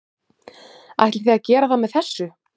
Ætlið þið að gera það með þessu?